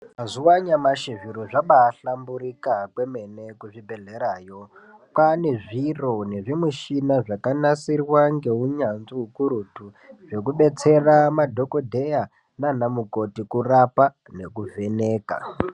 Mazuva anyamashi zviro zvabai hlamburika kwemene ku zvibhedhlerayo kwane zviro nezvi mishina zvaka nasirwa nge unyanzvi ukurutu zveku detsera madhokodheya nana mukoti kurapa neku vheneka.